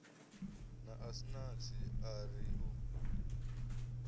na asnath a ri u